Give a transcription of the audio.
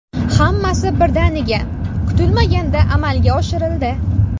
Hammasi birdaniga, kutilmaganda amalga oshirildi.